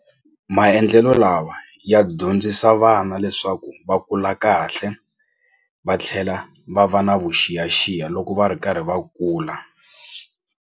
Maendlelo lawa ya dyondzisa vana leswaku va kula kahle va tlhela va va na vuxiyaxiya loko va ri karhi va kula.